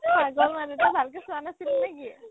পাগল মানে তই ভালকে চোৱা নাছিলি নে কি ?